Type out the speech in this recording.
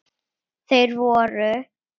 Þeir voru